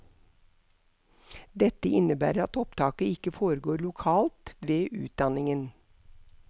Dette innebærer at opptaket ikke foregår lokalt ved utdanningen.